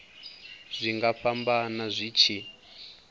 zwi nga fhambana zwi tshi